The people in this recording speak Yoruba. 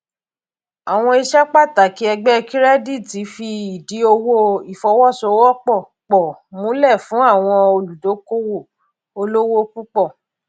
àwọn iṣẹ pàtàkì ẹgbẹ kirẹditi fi ìdì owó ìfowóṣowópò pọ múlẹ fún àwọn olùdókòwò olówó púpọ